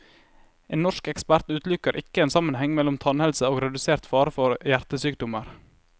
En norsk ekspert utelukker ikke en sammenheng mellom tannhelse og redusert fare for hjertesykdommer.